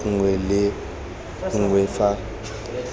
nako nngwe le nngwe fa